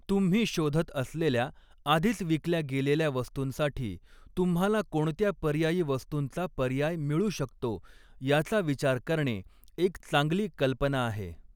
तुम्ही शोधत असलेल्या, आधीच विकल्या गेलेल्या वस्तूंसाठी तुम्हाला कोणत्या पर्यायी वस्तूंचा पर्याय मिळू शकतो, याचा विचार करणे एक चांगली कल्पना आहे.